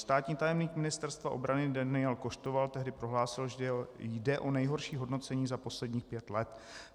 Státní tajemník Ministerstva obrany Daniel Koštoval tehdy prohlásil, že jde o nejhorší hodnocení za posledních pět let.